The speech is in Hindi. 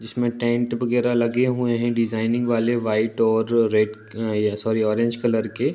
इसमे टेंट वगेरह लगे हुए है डिज़ाइनिंग वाले व्हाइट और red uh sorry orange colour के।